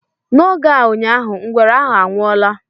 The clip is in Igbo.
N'oge a ụnyaahụ, ngwere ahu anwụọla